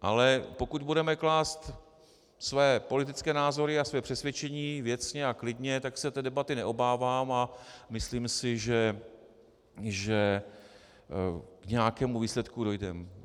Ale pokud budeme klást své politické názory a své přesvědčení věcně a klidně, tak se té debaty neobávám a myslím si, že k nějakému výsledku dojdeme.